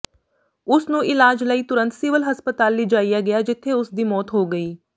ਉਸ ਨੂੰ ਇਲਾਜ ਲਈ ਤੁਰੰਤ ਸਿਵਲ ਹਸਪਤਾਲ ਲਿਜਾਇਆ ਗਿਆ ਜਿਥੇ ਉਸ ਦੀ ਮੌਤ ਹੋ ਗਈ